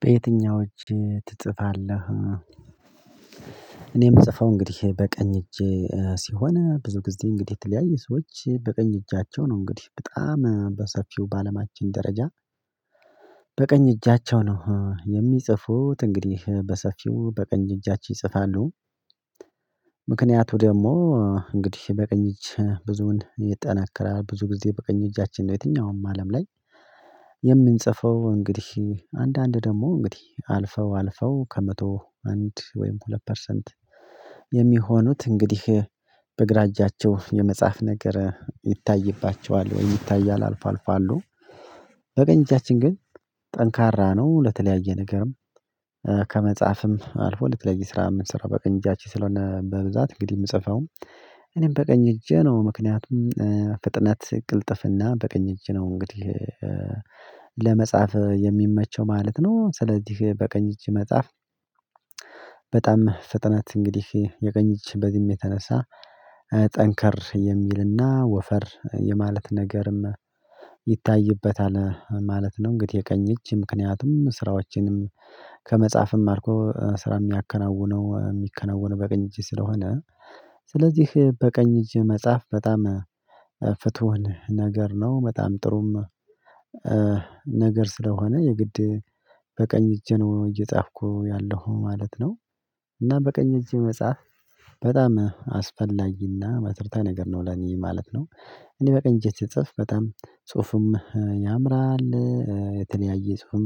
በየትኛው እጅ ትጽፋለህ? እኔ የምጽፈው እንግዲህ በቀኝ እጅ ሲሆን ብዙ ጊዜ እንግዲህ የተለያዩ ሰዎች በቀኝ እጃቸው ነው እንግዲህ በጣም በሰፊው በአለማችን ደረጃ በቀኝ እጃቸው ነው የሚጽፉት እንግዲህ በሰፊው በቀኝ እጃቸው ይጽፋሉ። ምክንያቱ ደግሞ እንግዲህ በቀኝ እጅ ብዙን ይጠነከራል። ብዙ ጊዜ በቀኝ እጃችን ነው የትኛውም አለም ላይ የምንጽፈው። እንግዲህ አንዳንድ ደግሞ እንግዲህ አልፈው አልፈው ከመቶ አንድ ወይም ሁለት ፐርሰንት የሚሆኑት እንግዲህ በግራ እጃቸው የመጻፍ ነገር ይታይባቸዋል። ወይም ይታያል አልፎ አልፎ አሉ። በቀኝ እጃችን ግን ጠንካራ ነው ለተለያየ ነገርም ከመጻፍም አልፎ ለተለያዩ ስራ የምንሰራው በቀኝ እጃችን ስለሆነ በብዛት እንግዲህ የምጽፈው እኔም በቀኝ እጄ ነው። ምክንያቱም ፍጥነት ቅልጥፍና በቀኝ እጅ ነው እንግዲህ ለመጻፍ የሚመቸው ማለት ነው። ስለዚህ በቀኝ እጅ መጽሐፍ በጣም ፍጥነት እንግዲህ የቀኝ እጅ በዚህም የተነሳ ጠንከር የሚልና ወፈር የማለት ነገርም ይታይበታል ማለት ነው። እንግዲህ የቀኝ እጅ ምክንያቱም ስራዎችንም ከመጻፍም አልፎ ስራ የሚያከናውነው የሚከናውነው በቀኝ እጅ ስለሆነ ስለዚህ በቀኝ እጅ መጽሐፍ በጣም ፍትሁን ነገር ነው። በጣም ጥሩም ነገር ስለሆነ የግድ በቀኝ እጄ ነው እየጻፍኩ ያለሁ ማለት ነው። እና በቀኝ እጄ መጻፍ በጣም አስፈላጊና መሰረታዊ ነገር ነው ለኔ ማለት ነው። እኔ በቀኝ እጄ ስጽፍ በጣም ጽሁፉም ያምራል፤ የተለያየ ጽሁፍም